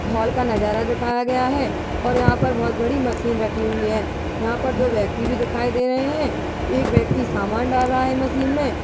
खोल का नजारा दिखाया गया है। और यहाँ पर बहुत बड़ी मशीन रखी हुई है। यहाँ पर दो व्यक्ति भी दिखाई दे रहे हैं एक व्यक्ति सामान डाल रहा है मशीन में --